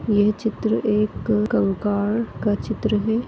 यह चित्र एक कंकाळ का चित्र है।